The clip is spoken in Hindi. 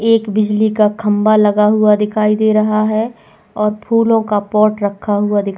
एक बिजली का खंबा लगा हुआ दिखाई दे रहा है और फूलों का पॉट रखा हुआ।